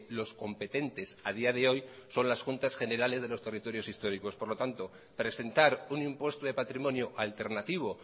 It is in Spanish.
los competentes a día de hoy son las juntas generales de los territorios históricos por lo tanto presentar un impuesto de patrimonio alternativo